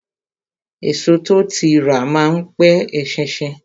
Èso tó ti rà má n pe eṣinṣin